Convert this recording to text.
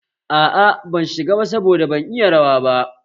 Aa, ban shiga ba saboda ban iya rawa ba